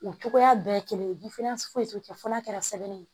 U cogoya bɛɛ ye kelen ye foyi t'u cɛ fo n'a kɛra sɛbɛn ye